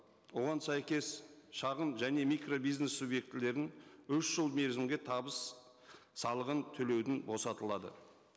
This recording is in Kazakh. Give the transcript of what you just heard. оған сәйкес шағын және микробизнес субъектілерін үш жыл мерзімге табыс салығын төлеуден босатылады